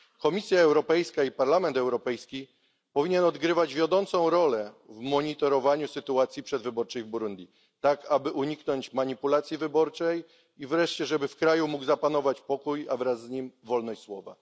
Komisja Europejska i Parlament Europejski powinny odgrywać wiodącą rolę w monitorowaniu sytuacji przedwyborczej w Burundi, tak aby uniknąć manipulacji wyborczej i wreszcie żeby w kraju mógł zapanować pokój, a wraz z nim wolność słowa.